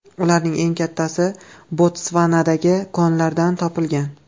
Ularning eng kattasi Botsvanadagi konlardan topilgan.